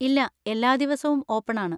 ഇല്ലാ, എല്ലാ ദിവസവും ഓപ്പൺ ആണ്.